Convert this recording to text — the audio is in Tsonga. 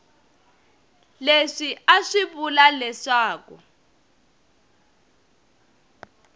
leswi a swi vula leswaku